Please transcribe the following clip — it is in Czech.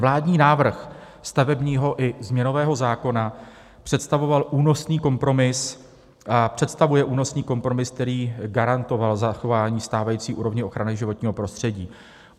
Vládní návrh stavebního i změnového zákona představoval únosný kompromis a představuje únosný kompromis, který garantoval zachování stávající úrovně ochrany životního prostředí.